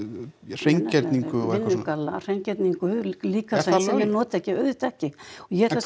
hreingerningu og eitthvað svona vinnugalla hreingerningu líka það sem þeir nota ekki er auðvitað ekki og ég ætla að